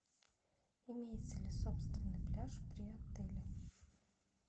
имеется ли собственный пляж при отеле